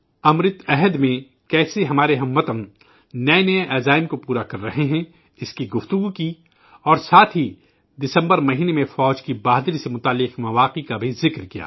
امرت کال میں کیسے ہمارے اہل وطن نئے نئے عہد پور ے کر رہے ہیں، اس پر بات کی، اور ساتھ ہی دسمبر مہینے میں فوج کی شجاعت سے متعلق باتوں کا بھی ذکر کیا